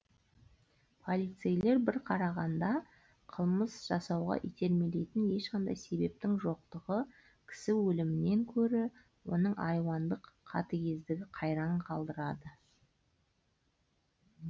полицейлер бір қарағанда қылмыс жасауға итермелейтін ешқандай себептің жоқтығы кісі өлімінен гөрі оның айуандық қатыгездігі қайран қалдырады